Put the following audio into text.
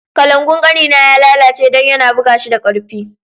Kalangu'n kani na ya lallace dan ya na buga shi da karfi.